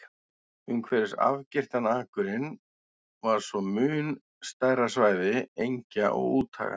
Umhverfis afgirtan akurinn var svo mun stærra svæði engja og úthaga.